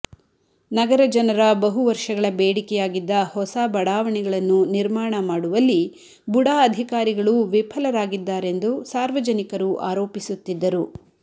ನಗರ ಜನರ ಬಹು ವರ್ಷಗಳ ಬೇಡಿಕೆಯಾಗಿದ್ದ ಹೊಸ ಬಡಾವಣೆಗಳನ್ನು ನಿರ್ಮಾಣ ಮಾಡುವಲ್ಲಿ ಬುಡಾ ಅಧಿಕಾರಿಗಳು ವಿಫಲರಾಗಿದ್ದಾರೆಂದು ಸಾರ್ವಜನಿಕರು ಆರೋಪಿಸುತ್ತಿದ್ದರು